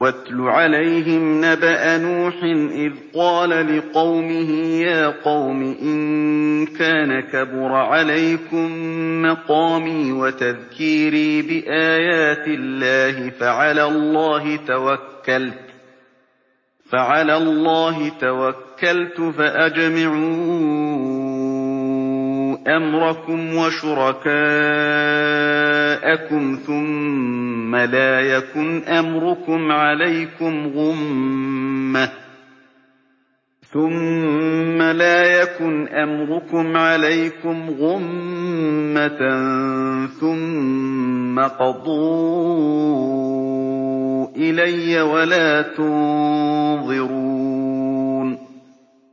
۞ وَاتْلُ عَلَيْهِمْ نَبَأَ نُوحٍ إِذْ قَالَ لِقَوْمِهِ يَا قَوْمِ إِن كَانَ كَبُرَ عَلَيْكُم مَّقَامِي وَتَذْكِيرِي بِآيَاتِ اللَّهِ فَعَلَى اللَّهِ تَوَكَّلْتُ فَأَجْمِعُوا أَمْرَكُمْ وَشُرَكَاءَكُمْ ثُمَّ لَا يَكُنْ أَمْرُكُمْ عَلَيْكُمْ غُمَّةً ثُمَّ اقْضُوا إِلَيَّ وَلَا تُنظِرُونِ